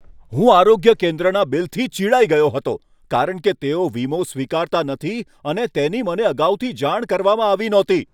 હું આરોગ્ય કેન્દ્રના બિલથી ચિડાઈ ગયો હતો કારણ કે તેઓ વીમો સ્વીકારતા નથી, જેની મને અગાઉથી જાણ કરવામાં આવી ન હતી.